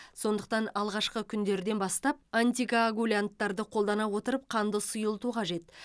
сондықтан алғашқы күндерден бастап антикоагулянттарды қолдана отырып қанды сұйылту қажет